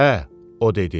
Hə, o dedi.